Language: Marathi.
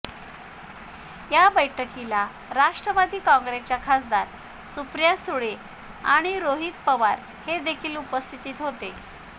या बैठकीला राष्ट्रवादी काँग्रेसच्या खासदार सुप्रिया सुळे आणि रोहित पवार हे देखील उपस्थित होते